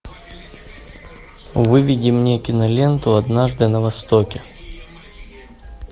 выведи мне киноленту однажды на востоке